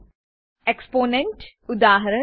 Exponent ઉદા